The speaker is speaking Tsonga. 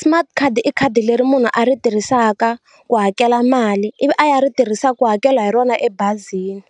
Smart card i khadi leri munhu a ri tirhisaka ku hakela mali ivi a ya ri tirhisaka ku hakela hi rona ebazini